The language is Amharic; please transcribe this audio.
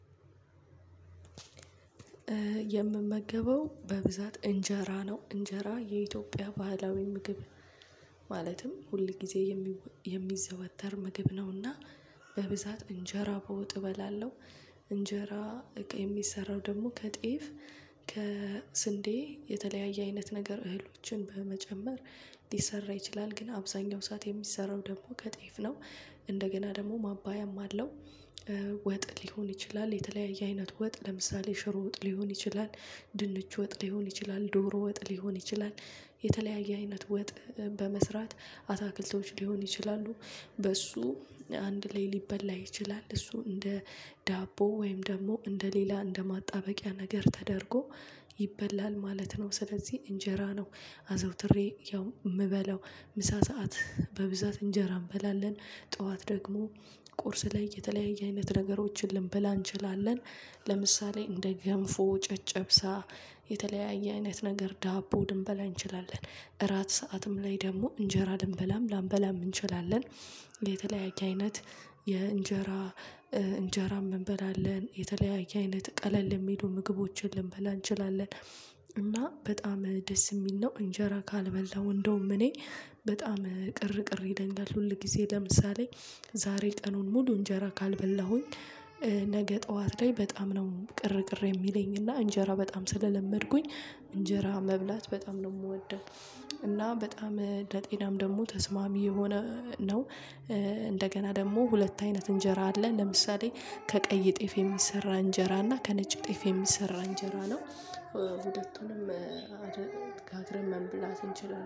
የምመገበው በብዛት እንጀራ ነው። እንጀራ የኢትዮጵያ ባህላዊ ምግብ ማለትም ሁል ጊዜ የሚዘወተር ምግብ ነውና በብዛት እንጀራ በውጥ እበላለሁ። እንጀራ እቅ የሚሰራው ደግሞ ከጤፍ ከስንዴ የተለያየ አይነት ነገር እህሎችን በመጨመር ሊሰራ ይችላል ግን አብዛኛው ሰዓት የሚሰራው ደግሞ ከጤፍ ነው። እንደገና ደግሞ ማባያም አለው። ወጥ ሊሆን ይችላል የተለያየ አይነት ወጥ ለምሳሌ ሽሮ ወጥ ሊሆን ይችላል። ድንች ወጥ ሊሆን ይችላል ዶሮ ወጥ ሊሆን ይችላል። የተለያየ አይነት ወጥ በመስራት አታክልተውች ሊሆን ይችላሉ። በሱ አንድ ላይ ሊበላ ይችላል እሱ እንደ ዳቦ ወይም ደግሞ እንደ ሌላ እንደ ማጣበቂያ ነገር ተደርጎ ይበላል ማለት ነው። ስለዚህ እንጀራ ነው አዘውትሬ ያው የምበለው ምሳ ሰዓት በብዛት እንጀራ እንበላለን። ጠዋት ደግሞ ቁርስ ላይ የተለያየ አይነት ነገሮችን ልንበላ እንችላለን። ለምሳሌ እንደ ገንፎ ጨጨብሳ የተለያየ አይነት ነገር ዳቦ ልንበል አንችላለን። እራት ሰዓትም ላይ ደግሞ እንጀራ ልንበላም ላንበላም እንችላለን። የተለያየ አይነት የእንጀራ እንጀራ እንበላለን የተለያየ አይነት ቀለል የሚሉ ምግቦችን ልንበላ እንችላለን። እና በጣም ደስ የሚል ነው እንጀራ ካልበላው እንደውም እኔ በጣም ቅር ቅር ይለኛል። ሁል ጊዜ ለምሳሌ ዛሬ ቀኑን ሙሉ እንጀራ ካልበላሁኝ። ነገ ጠዋት ላይ በጣም ነው ቅር ቅር የሚለኝ እና እንጀራ በጣም ስለለመድኩኝ እንጀራ መብላት በጣም ነው የምወደው። እና በጣም ለጤናም ደግሞ ተስማሚ የሆነ ነው። እንደገና ደግሞ ሁለት አይነት እንጀራ አለ። ለምሳሌ ከቀይ እጤፍ የሚሰራ እንጀራ እና ከነጭ ጤፍ የሚሰራ እንጀራ ነው። ሁለቱንም አደነ ካትረመን መብላት እንችላለን